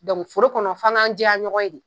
forokɔnɔ f'an ga jɛya ɲɔgɔn ye de